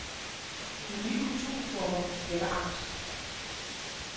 De nye kulturformer vækker angst.